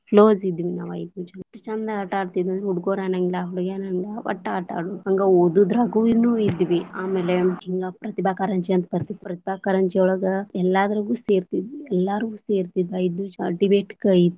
Close ಇದ್ವಿ ನಾವ ಐದು ಜನಾ, ಎಷ್ಟ ಚಂದ ಆಟಾ ಆಡತಿದ್ವಿ ಹುಡುಗುರ ಅನ್ನಂಗಿಲ್ಲಾ ಹುಡಗ್ಯಾರ ಅನ್ನಂಗಿಲ್ಲಾ ವಟ್ಟ್ ಆಟಾ ಆಡುದ್ ಹಂಗ ಓದುದರಾಗೂ ಇದ್ವಿ ಆಮೇಲೆ ಹಿಂಗ ಪ್ರತಿಭಾ ಕಾರಂಜಿ ಅಂತ ಬರ್ತಿತ್ತಲ್ಲಾ ಪ್ರತಿಭಾ ಕಾರಂಜಿ ಒಳಗ ಎಲ್ಲಾದ್ರಾಗೂ ಸೆರತಿದ್ವಿ, ಎಲ್ಲರು ಸೇರ್ತಿದ್ವಿ debate ಕ.